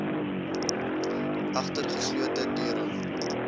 agter geslote deure